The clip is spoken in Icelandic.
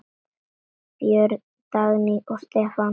Börn: Dagný og Stefán Haukur.